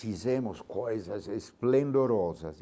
Fizemos coisas esplendorosas.